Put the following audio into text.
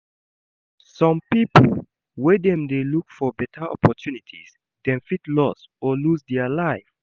Some pipo when dem dey look for better opportunities dem fit lost or loose their life